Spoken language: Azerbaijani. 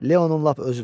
Leonun lap özüdür.